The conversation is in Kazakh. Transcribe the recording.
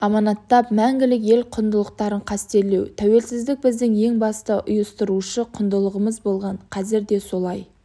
аманаттап мәңгілік ел құндылықтарын қастерлеу тәуелсіздік біздің ең басты ұйыстырушы құндылығымыз болған қазір де солай